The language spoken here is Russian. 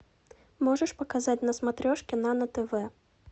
можешь показать на смотрешке нано тв